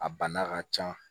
A bana ka ca